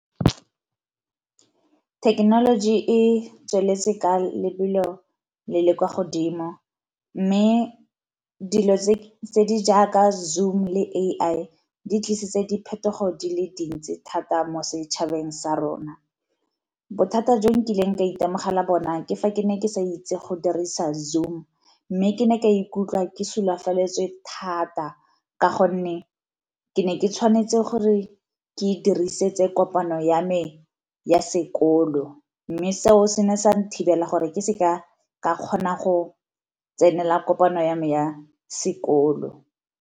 Thekenoloji e tsweletse ka lebelo le le kwa godimo mme dilo tse di jaaka Zoom le A_I di tlisitse diphetogo di le dintsi thata mo setšhabeng sa rona. Bothata jo nkileng ka itemogela bona ke fa ke ne ke sa itse go dirisa Zoom, mme ke ne ka ikutlwa ke sulafaletswe thata ka gonne ke ne ke tshwanetse gore ke diriseditse kopano ya me ya sekolo. Mme seo se ne sa na thibela gore ke se ka ka kgona go tsenela kopano ya me ya sekolo.